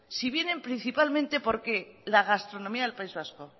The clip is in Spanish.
si vienen principalmente por la gastronomía del país vasco